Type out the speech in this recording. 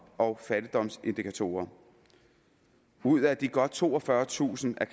og fattigdomsindikatorer ud af de godt toogfyrretusind er